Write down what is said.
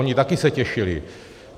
Oni se taky těšili.